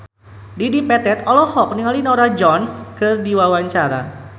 Dedi Petet olohok ningali Norah Jones keur diwawancara